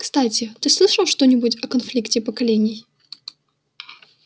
кстати ты слышал что-нибудь о конфликте поколений